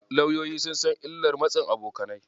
Lauyoyi sun san illar matsin abokanai.